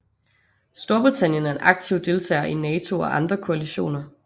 Storbritannien er en aktiv deltager i NATO og andre koalitioner